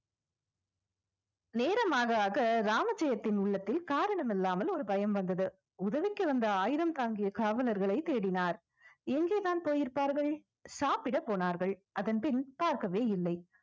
நேரம் ஆக ஆக ராமஜெயத்தின் உள்ளத்தில் காரணம் இல்லாமல் ஒரு பயம் வந்தது உதவிக்கு வந்த ஆயுதம் தாங்கிய காவலர்களை தேடினார் எங்கேதான் போயிருப்பார்கள் சாப்பிட போனார்கள் அதன் பின் பார்க்கவே இல்லை